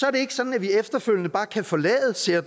er det ikke sådan at vi efterfølgende bare kan forlade ceta